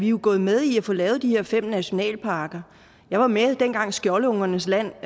jo gået med i at få lavet de her fem nationalparker jeg var med dengang skjoldungernes land